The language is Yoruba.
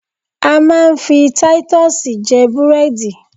A máa ń fi taitusì jẹ búrẹ́dì